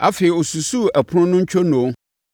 Afei ɔsusuu ɛpono no ntwonoo;